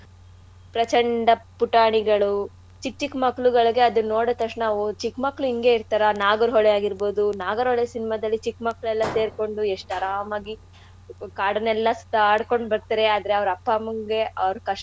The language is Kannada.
ಪ್ರಚಂಡ ಪುಟಾಣಿಗಳು ಚಿಕ್ ಚಿಕ್ ಮಕ್ಳುಗಳ್ಗೆ ಅದುನ್ ನೋಡುದ್ ತಕ್ಷಣ ಓ ಚಿಕ್ ಮಕ್ಕ್ಳು ಇಂಗೆ ಇರ್ತಾರ ನಾಗರ್ ಹೊಳೆ ಆಗಿರ್ಬೋದು ನಾಗರ್ ಹೊಳೆ cinema ದಲ್ಲಿ ಚಿಕ್ ಮಕ್ಕ್ಳೆಲ್ಲಾ ಸೇರ್ಕೊಂಡು ಎಷ್ಟ್ ಆರಾಮಾಗಿ ಕಾಡಲ್ಲೆಲ್ಲಾ ಸುತ್ತಾಡ್ಕೊಂಡ್ ಬರ್ತಾರೆ ಆದ್ರೆ ಅವ್ರ್ ಅಪ್ಪ ಅಮ್ಮಂಗೆ ಆಹ್ ಅವರ ಕಷ್ಟ.